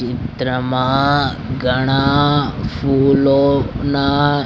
ચિત્રમાં ઘણા ફૂલોના--